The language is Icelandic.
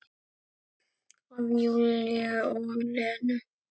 Af Júlíu og Lenu.